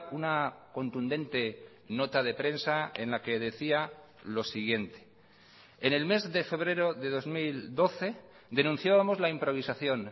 una contundente nota de prensa en la que decía lo siguiente en el mes de febrero de dos mil doce denunciábamos la improvisación